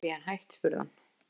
Er barnapían hætt? spurði hann.